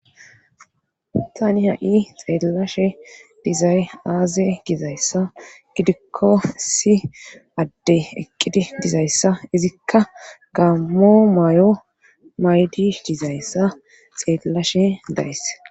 Tani ha'i xeellashe dizay aaze gizayssa gidikko si adde eqqidi dizayssa izikka gammo may'o maydi dizayssa xeellashe days.